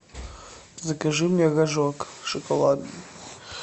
закажи мне рожок шоколадный